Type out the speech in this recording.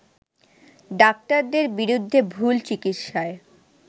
ডাক্তারদের বিরুদ্ধে ভুল চিকিৎসায়